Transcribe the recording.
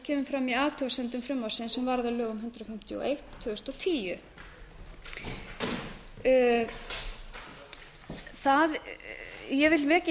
kemur í athugasemdum frumvarpsins sem varð að lögum númer hundrað fimmtíu og eitt tvö þúsund og tíu ég vil vekja